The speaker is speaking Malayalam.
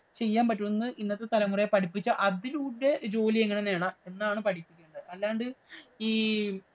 ചെയ്യാന്‍ പറ്റുമെന്ന് ഇന്നത്തെ തലമുറയെ പഠിപ്പിച്ചു അതിലൂടെ ജോലി എങ്ങനെ നേടാം എന്നാണ് പഠിപ്പിക്കേണ്ടത്. അല്ലാണ്ട്